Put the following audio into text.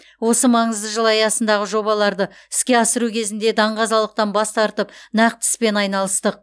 осы маңызды жыл аясындағы жобаларды іске асыру кезінде даңғазалықтан бас тартып нақты іспен айналыстық